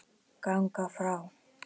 ganga frá